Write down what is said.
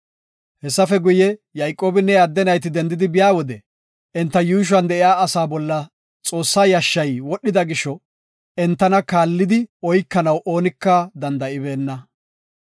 Hessafe guye, Yayqoobinne iya adde nayti dendidi biyade enta yuushuwan de7iya asa bolla Xoossa yashshay wodhida gisho entana kaallidi oykanaw oonika danda7ibeenna.